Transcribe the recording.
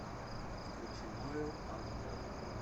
включи ноэл аш дэ